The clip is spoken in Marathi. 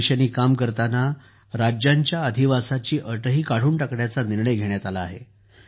या दिशेने काम करताना राज्यांच्या अधिवासाची अटही काढून टाकण्याचा निर्णय घेण्यात आला आहे